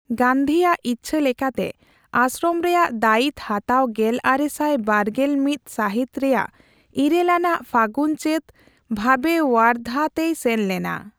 ᱜᱟᱹᱱᱫᱷᱤᱭᱟᱜ ᱤᱪᱪᱷᱟᱹ ᱞᱮᱠᱟᱛᱮ ᱟᱥᱥᱨᱚᱢ ᱨᱮᱭᱟᱜ ᱫᱟᱭᱤᱛ ᱦᱟᱛᱟᱣ ᱜᱮᱞᱟᱨᱮᱥᱟᱭ ᱵᱟᱨᱜᱮᱞᱢᱚᱛ ᱥᱟᱹᱦᱤᱛ ᱨᱮᱭᱟᱜ ᱤᱨᱟᱹᱞ ᱟᱱᱟᱜ ᱯᱷᱟᱜᱩᱱᱼᱪᱟᱹᱛ ᱵᱷᱟᱵᱮ ᱳᱣᱟᱨᱫᱷᱟ ᱛᱮᱭ ᱥᱮᱱ ᱞᱮᱱᱟ ᱾